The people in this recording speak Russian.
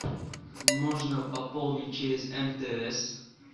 можно пополнить через мтс